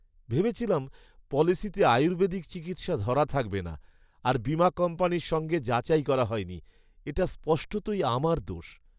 ভেবেছিলাম পলিসিতে আয়ুর্বেদিক চিকিৎসা ধরা থাকবে না, আর বীমা কোম্পানীর সঙ্গে যাচাই করা হয়নি। এটা স্পষ্টতই আমার দোষ।